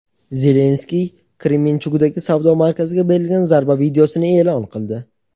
Zelenskiy Kremenchugdagi savdo markaziga berilgan zarba videosini eʼlon qildi.